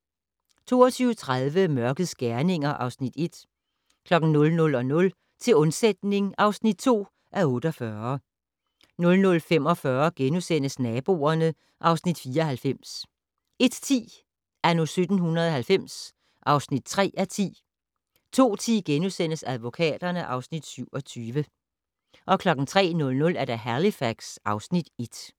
22:30: Mørkets gerninger (Afs. 1) 00:00: Til undsætning (2:48) 00:45: Naboerne (Afs. 94)* 01:10: Anno 1790 (3:10) 02:10: Advokaterne (Afs. 27)* 03:00: Halifax (Afs. 1)